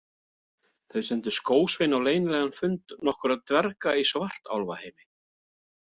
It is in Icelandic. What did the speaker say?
Þau sendu skósvein á leynilegan fund nokkurra dverga í Svartálfaheimi.